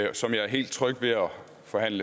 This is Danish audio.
få et